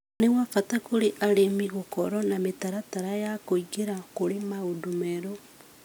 nĩ bata kũrĩ arĩmi gũkorwo na mĩtaratara ya kũingĩra kũrĩ maũndũ merũ.